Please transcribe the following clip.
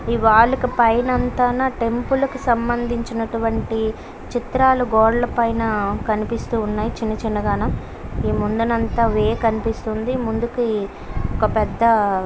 ఈ వాలుకి పైనా అంతనా టెంపుల్ కి సంబంధించిన చిత్రాలు గోదాల పైనా కనిపిస్తూ ఉన్నాయి చిన్న చిన్నగాను ఈ ముందంతా వే కనిపిస్తుంది ముందుకి ఒక పెద్ద --